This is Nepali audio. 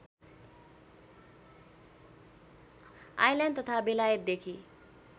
आइल्यान्ड तथा बेलायतदेखि